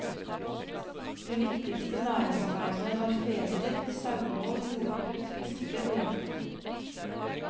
De viktigste næringsveiene var fedrift, sauehold, jordbruk, fiske og jakt.